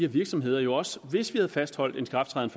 virksomheder jo også hvis vi havde fastholdt en ikrafttræden